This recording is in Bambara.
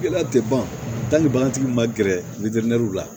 Gɛlɛya tɛ ban hali bagantigi ma gɛrɛ litɛriw la